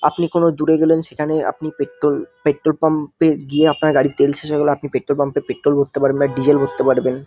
আপনি কোন দূরে গেলেন সেখানে আপনি পেট্রল পেট্রল পাম্প -এ গিয়ে আপনার গাড়ির তেল শেষ হয়ে গেলে আপনি পেট্রল পাম্প -এ পেট্রল ভরতে পারবেন বা ডিজেল ভরতে পারবেন।